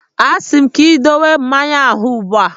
A sị m gị dowe mmanya ahụ ugbu a!